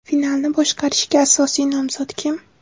Finalni boshqarishga asosiy nomzod kim?